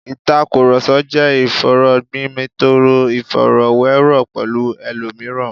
Ìtàkùrọ̀sọ jẹ́ ìfọ̀rọ̀gbomitoro, ìfọ̀rọ̀wérọ̀ pẹ̀lú ẹlòmíràn